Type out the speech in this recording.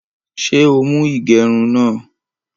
Ṣé o mú igerún náà?